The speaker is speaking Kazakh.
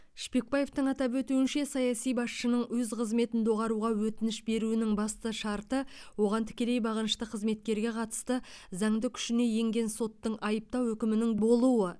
шпекбаевтың атап өтуінше саяси басшының өз қызметін доғаруға өтініш беруінің басты шарты оған тікелей бағынышты қызметкерге қатысты заңды күшіне енген соттың айыптау үкімінің болуы